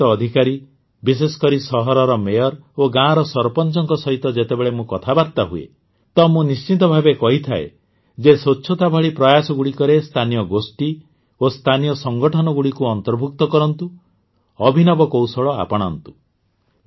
ନିର୍ବାଚିତ ଅଧିକାରୀ ବିଶେଷକରି ସହରର ମେୟର୍ ଓ ଗାଁର ସରପଂଚଙ୍କ ସହିତ ଯେତେବେଳେ ମୁଁ କଥାବାର୍ତ୍ତା ହୁଏ ତ ମୁଁ ନିଶ୍ଚିତଭାବେ କହିଥାଏ ଯେ ସ୍ୱଚ୍ଛତା ଭଳି ପ୍ରୟାସଗୁଡ଼ିକରେ ସ୍ଥାନୀୟ ଗୋଷ୍ଠୀ ଓ ସ୍ଥାନୀୟ ସଂଗଠନଗୁଡ଼ିକୁ ଅନ୍ତର୍ଭୁକ୍ତ କରନ୍ତୁ ଅଭିନବ କୌଶଳ ଆପଣାନ୍ତୁ